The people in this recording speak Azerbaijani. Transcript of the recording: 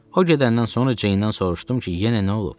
O gedəndən sonra Ceyndən soruşdum ki, yenə nə olub?